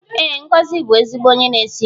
Ee, Ngozi bụ ezigbo onye na-esi nri